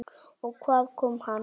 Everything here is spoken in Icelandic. Og hvaðan kom hann?